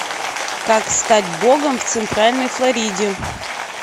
как стать богом в центральной флориде